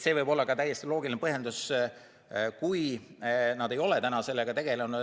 See võib olla ka täiesti loogiline põhjendus, miks nad ei ole seni sellega tegelenud.